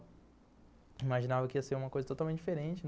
Imaginava que ia ser uma coisa totalmente diferente.